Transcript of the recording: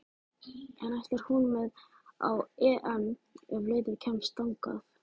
En ætlar hún með á EM ef liðið kemst þangað?